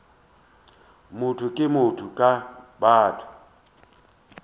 motho ke motho ka batho